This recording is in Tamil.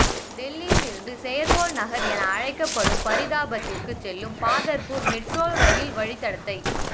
டெல்லியில் இருந்து செயற்கைக்கோள் நகர் என அழைக்கப்படும் பரீதாபாத்திற்கு செல்லும் பாதர்பூர் மெட்ரோ ரெயில் வழித்தடத்தை